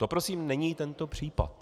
To prosím není tento případ.